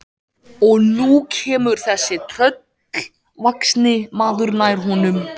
Og nú kemur þessi tröllvaxni maður nær honum.